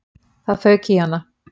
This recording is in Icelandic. Það fauk í hana.